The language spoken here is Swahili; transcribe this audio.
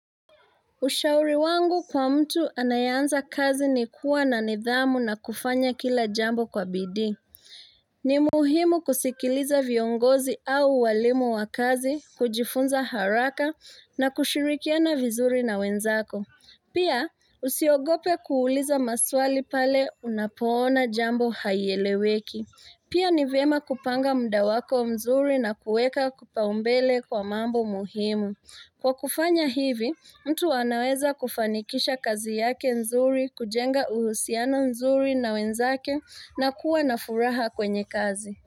Ushauri wangu kwa mtu anayeanza kazi ni kuwa na nidhamu na kufanya kila jambo kwa bidii. Ni muhimu kusikiliza viongozi au walimu wa kazi, kujifunza haraka na kushirikiana vizuri na wenzako. Pia, usiogope kuuliza maswali pale unapoona jambo haieleweki. Pia ni vyema kupanga muda wako mzuri na kuweka kipaumbele kwa mambo muhimu. Kwa kufanya hivi, mtu anaweza kufanikisha kazi yake nzuri kujenga uhusiano nzuri na wenzake na kuwa na furaha kwenye kazi.